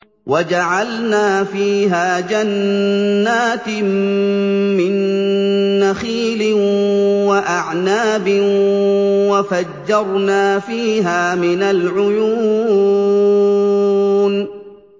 وَجَعَلْنَا فِيهَا جَنَّاتٍ مِّن نَّخِيلٍ وَأَعْنَابٍ وَفَجَّرْنَا فِيهَا مِنَ الْعُيُونِ